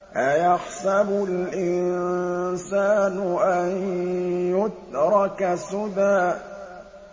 أَيَحْسَبُ الْإِنسَانُ أَن يُتْرَكَ سُدًى